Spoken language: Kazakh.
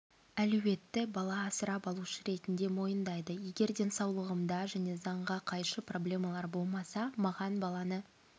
әлеуетті бала асырап алушы ретінде мойындайды егер денсаулығымда және заңға қайшы проблемалар болмаса маған баланы